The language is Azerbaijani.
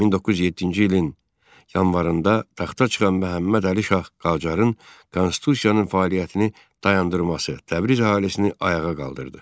1907-ci il yanvarında taxta çıxan Məhəmmədəli şah Qacarın Konstitusiyanın fəaliyyətini dayandırması Təbriz əhalisini ayağa qaldırdı.